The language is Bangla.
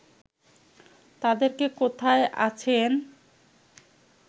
তাদের কে কোথায় আছেন